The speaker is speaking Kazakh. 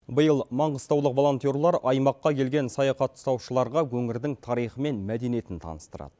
биыл маңғыстаулық волонтерлар аймаққа келген саяхаттаушыларға өңірдің тарихы мен мәдениетін таныстырады